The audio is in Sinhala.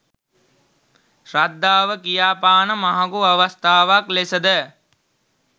ශ්‍රද්ධාව කියාපාන මහඟු අවස්ථාවක් ලෙසද